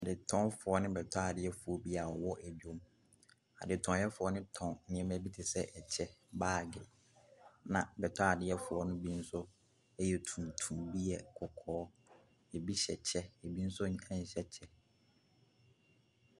Adetɔnfoɔ ne bɛtɔadeɛfoɔ bi a wɔwɔ dwam. Adetɔnfoɔ no tɔn nneɛma bi te sɛ, kyɛ, baage, ɛnna bɛtɔadeɛfoɔ no bi nso yɛ tuntum, bi yɛ kɔkɔɔ. Ebi hyɛ kyɛ, ebi nso nhyɛ kyɛ.